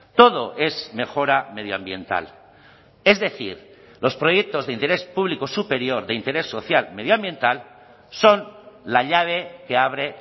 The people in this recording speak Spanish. todo es mejora medioambiental es decir los proyectos de interés público superior de interés social medioambiental son la llave que abre